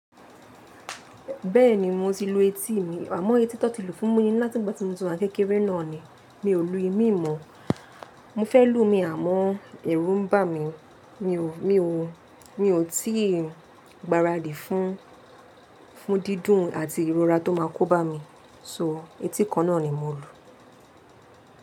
Bẹ́ẹ̀ni mo ti lu eti mí, àmọ́ eti tan ti lù fún mi ni láti ìgbà tí mo ti wa n kẹ́kẹ́ré náà ni. Mi ò lu imi mọ́. Mo fẹ́ lo mí àmọ́ ẹ̀rù ń bà mí. Mi ò, mi ò, mi ò tíì gbaradi fún, fún dídùn àti ìrora tó máa kóbá mi. So eti kan náà ni mo lu.